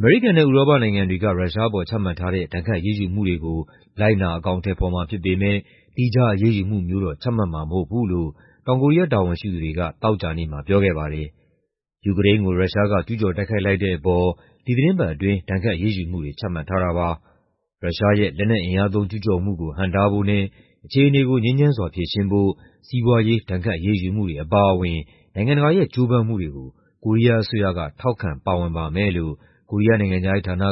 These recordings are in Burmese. အမေရိကန်နဲ့ ဥရောပနိုင်ငံတွေက ရုရှားအပေါ် ချမှတ်ထားတဲ့ ဒဏ်ခတ်အရေးယူမှုတွေကို လိုက်နာ အကောင်အထည်ဖော်မှာ ဖြစ်ပေမယ့် သီးခြား အရေးယူမှုမျိုးတော့ ချမှတ်မှာမဟုတ်ဘူးလို့ တောင်ကိုရီးယား တာဝန်ရှိသူတွေက သောကြာနေ့မှာ ပြောခဲ့ပါတယ်။ ယူကရိန်းကို ရုရှားက ကျူးကျော်တိုက်ခိုက်လိုက်တဲ့အပေါ် ဒီသီတင်းပတ်အတွင်း ဒဏ်ခတ်အရေးယူမှုတွေ ချမှတ်ထားတာပါ။ ရုရှားရဲ့ လက်နက်အင်အားသုံး ကျူးကျော်မှုကို ဟန့်တားဖို့နဲ့ အခြေအနေကို ငြိမ်းချမ်းစွာ ဖြေရှင်းဖို့ စီးပွားရေး ဒဏ်ခတ်အရေးယူမှုတွေ အပါအဝင် နိုင်ငံတကာရဲ့ ကြိုးပမ်းမှုတွေကို ကိုရီးယားအစိုးရက ထောက်ခံပါဝင်ပါမယ်လို့ ကိုရီးယား နိုင်ငံခြားရေးဌာနက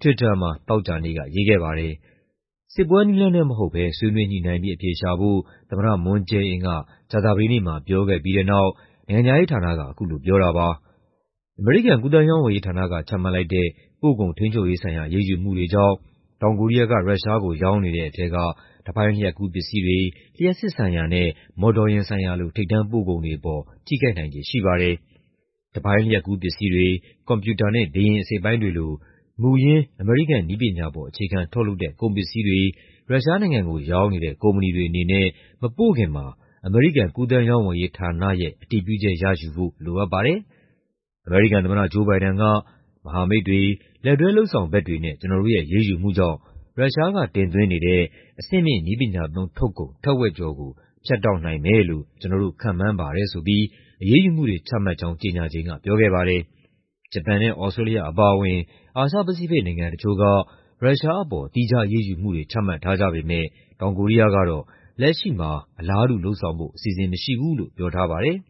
Twitter မှာ သောကြာနေ့က ရေးခဲ့ပါတယ်။ စစ်ပွဲနည်းလမ်းနဲ့ မဟုတ်ဘဲ ဆွေးနွေးညှိနှိုင်းပြီး အဖြေရှာဖို့ သမ္မတ Moon Jae-in က ကြာသပတေးနေ့မှာ ပြောခဲ့ပြီးတဲ့နောက် နိုင်ငံခြားရေးဌာနက အခုလိုပြောတာပါ။ အမေရိကန် ကူးသန်းရောင်းဝယ်ရေးဌာနက ချမှတ်လိုက်တဲ့ ပို့ကုန်ထိန်းချုပ်ရေးဆိုင်ရာ အရေးယူမှုတွေကြောင့် တောင်ကိုရီးယားက ရုရှားကို ရောင်းနေတဲ့ထဲက တပိုင်းလျှပ်ကူးပစ္စည်းတွေ၊ လျှပ်စစ်ဆိုင်ရာနဲ့ မော်တော်ယာဉ်ဆိုင်ရာလို ထိပ်တန်းပို့ကုန်တွေပေါ် ထိခိုက်နိုင်ခြေ ရှိပါတယ်။ တပိုင်းလျှပ်ကူးပစ္စည်းတွေ၊ ကွန်ပျူတာနဲ့ လေယာဉ်အစိတ်အပိုင်းတွေလို မူရင်း အမေရိကန် နည်းပညာပေါ် အခြေခံထုတ်လုပ်တဲ့ ကုန်ပစ္စည်းတွေ ရုရှားနိုင်ငံကို ရောင်းနေတဲ့ ကုမ္ပဏီတွေအနေနဲ့ မပို့ခင်မှာ အမေရိကန် ကူးသန်းရောင်းဝယ်ရေးဌာနရဲ့ အတည်ပြုချက်ရယူဖို့ လိုအပ်ပါတယ်။ အမေရိကန်သမ္မတ Joe Biden က "မဟာမိတ်တွေ၊ လက်တွဲလုပ်ဆောင်ဘက်တွေနဲ့ ကျနော်တို့ရဲ့ အရေးယူမှုကြောင့် ရုရှားကတင်သွင်းနေတဲ့ အဆင့်မြင့်နည်းပညာသုံး ထုတ်ကုန် ထက်ဝက်ကျော်ကို ဖြတ်တောက်နိုင်မယ်လို့ ကျနော်တို့ ခန့်မှန်းပါတယ်" ဆိုပြီး အရေးယူမှုတွေ ချမှတ်ကြောင်း ကြေညာချိန်က ပြောခဲ့ပါတယ်။ ဂျပန်နဲ့ သြစတြေးလျ အပါအဝင် အာရှ-ပစိဖိတ်နိုင်ငံ တချို့က ရုရှားအပေါ် သီးခြားအရေးယူမှုတွေ ချမှတ်ထားကြပေမယ့် တောင်ကိုရီးယားကတော့ လက်ရှိမှာ အလားတူလုပ်ဆောင်ဖို့ အစီအစဉ်မရှိဘူးလို့ ပြောထားပါတယ်။